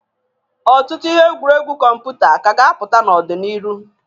Ọtụtụ ihe egwuregwu kọmputa ka a ga-apụta n'ọ dị n'irụ.